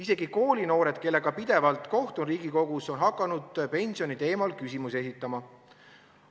Isegi koolinoored, kellega pidevalt kohtun Riigikogus, on hakanud pensioniteemal küsimusi esitama.